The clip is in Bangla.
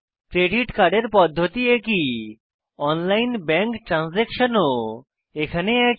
ক্রেডিট কার্ডের পদ্ধতি একই অনলাইন ব্যাঙ্ক ট্রানসাকশান ও এখানে একই